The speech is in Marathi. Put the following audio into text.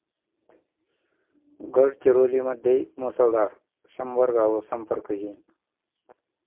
गडचिरोलीमध्ये मुसळधार, शंभर गावं संपर्कहीन